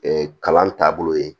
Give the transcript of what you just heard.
kalan taabolo ye